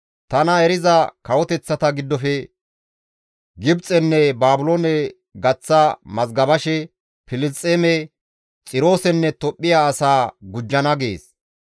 «Tana eriza kawoteththata giddofe Gibxenne Baabiloone gaththa mazgabashe Filisxeeme, Xiroosenne Tophphiya asaa gujjana» gees.